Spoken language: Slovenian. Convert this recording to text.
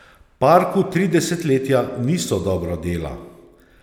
Parku tri desetletja niso dobro dela.